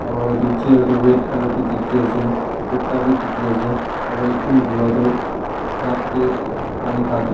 aru etu chair tu red colour bhi dekhi ase kutta bhi dekhi ase aru ekjon bura tu cup te kiba na khake--